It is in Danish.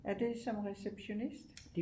Er det som receptionist